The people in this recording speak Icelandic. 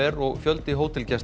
og fjöldi